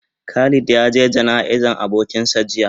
Khalid ya ge gana'iza abokin sa jiya.